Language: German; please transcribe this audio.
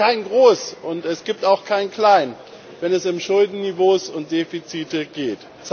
Es gibt kein Groß, und es gibt auch kein Klein, wenn es um Schuldenniveaus und Defizite geht.